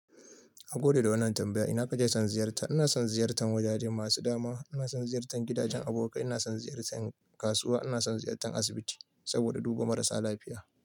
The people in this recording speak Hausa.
A gode da wannan tambaya. Ina ka je son ziyarta? Ina son ziyartan wajaje masu dama. Ina son ziyartan gidajen abokai. Ina son ziyartan kasuwa. Ina son ziyartan asibiti saboda duba marasa lafiya.